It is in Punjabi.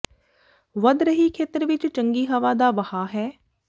ਵਧ ਰਹੀ ਖੇਤਰ ਵਿਚ ਚੰਗੀ ਹਵਾ ਦਾ ਵਹਾਅ ਹੈ